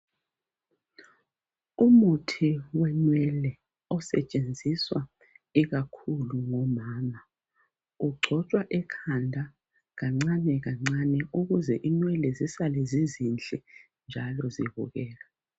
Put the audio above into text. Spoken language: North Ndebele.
Umuthi wenwele osetshenziswa ikakhulu ngomama. Ugcotshwa ekhanda kancane kancane ukuze inwele zisale zizinhle njalo zibukeka.